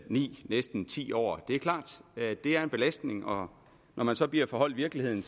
ni næsten ti år det er klart at det er en belastning og når man så bliver forholdt virkeligheden